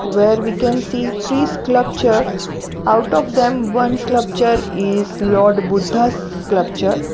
where we can see three sclupture out of them one sclupture is lord buddha sclupture .